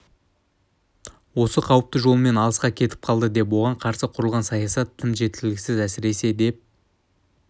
осы қауіпті жолымен алысқа кетіп қалды және оған қарсы құрылған саясат тым жеткіліксіз әсіресе деп